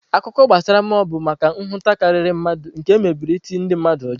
Akụkọ gbasara mmụọ bụ maka nhụta karịrị mmadụ nke emebere iti ndị mmadụ ụjọ.